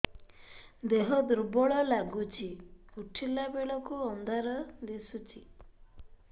ଦେହ ଦୁର୍ବଳ ଲାଗୁଛି ଉଠିଲା ବେଳକୁ ଅନ୍ଧାର ଦିଶୁଚି